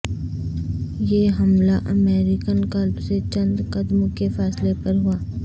یہ حملہ American club سے چند قدم کے فاصلے پر ہوا